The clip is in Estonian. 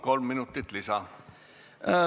Palun, kolm minutit lisa!